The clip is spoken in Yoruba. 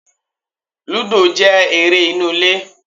Lúdò jẹ́ eré inú ilé